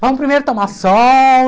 Vamos primeiro tomar sol.